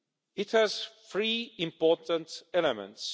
It has three important elements.